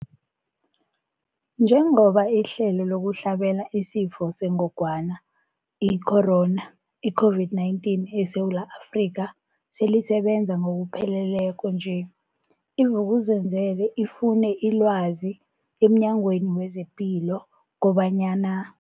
Njengoba ihlelo lokuhlabela isiFo sengogwana i-Corona, i-COVID-19, eSewula Afrika selisebenza ngokupheleleko nje, i-Vuk'uzenzele ifune ilwazi emNyangweni wezePilo kobanyana.